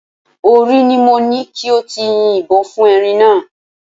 Orí ni mo ní kí o ti yin ìbọn fún erin náà